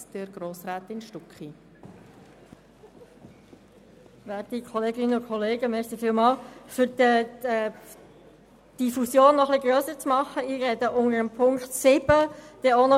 Ich erteile in der Reihenfolge der Auflistung das Wort, zuerst der FiKoMinderheit, anschliessend der SP-JUSO-PSA-Fraktion, Grossrat Krähenbühl und Grossrat Schlup für die SVPFraktion sowie als Co-Antragsteller noch den Grossrätin Graf und Grossrat Vanoni seitens der Grünen.